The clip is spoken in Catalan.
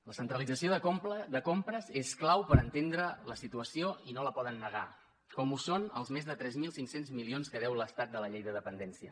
la centralització de compres és clau per entendre la situació i no la poden negar com ho són els més de tres mil cinc cents milions que deu l’estat de la llei de dependència